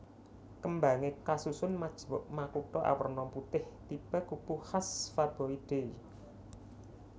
Kembangé kasusun majemuk makutha awerna putih tipe kupu khas Faboideae